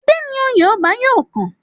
Adé ni oyè ọba yóò kàn.